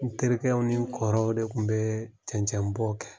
N terikɛw ni n kɔrɔ de tun bɛ cɛncɛnbɔ kɛ